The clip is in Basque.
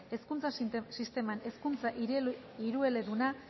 hezkuntza sisteman hezkuntza hirueleduna